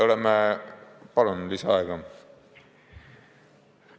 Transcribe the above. Palun lisaaega!